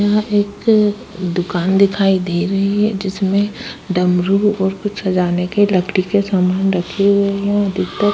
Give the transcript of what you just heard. यहाँ एक दुकान दिखाई दे रही है जिसमे डमरू और कुछ सजाने के लकड़ी के समान रखे हुए है। अधिकतर --